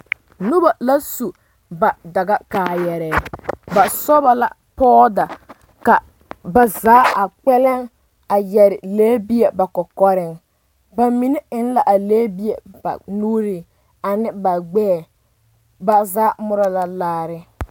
Noba la su ba dagakaayarɛɛ ba sɔba la pɔɔda ka ba zaa haa kpɛlɛŋ a yɛre lɛbie ba kɔkɔreŋ ba mine eŋ la a lɛbie ba nuure ane ba gbɛɛ ba zaa morɔ la laare.